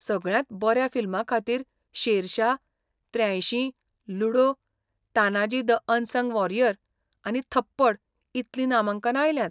सगळ्यांत बऱ्या फिल्मा खातीर शेरशाह, त्र्यांयशीं , Ludo, Tanhaji the unsung warrior आनी थप्पड इतलीं नामांकना आयल्यांत.